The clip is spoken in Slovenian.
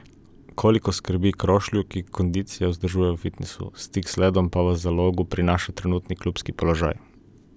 Koliko skrbi Krošlju, ki kondicijo vzdržuje v fitnesu, stik z ledom pa v Zalogu, prinaša trenutni klubski položaj?